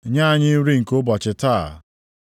Nye anyị nri nke ụbọchị taa.